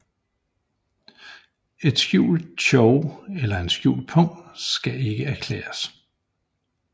En skjult chow eller en skjult pung skal ikke erklæres